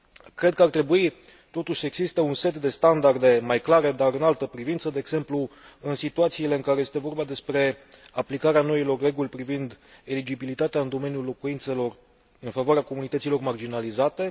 Cred că ar trebui totuși să existe un set de standarde mai clare, dar în altă privință, de exemplu, în situațiile în care este vorba despre aplicarea noilor reguli privind eligibilitatea în domeniul locuințelor în favoarea comunităților marginalizate.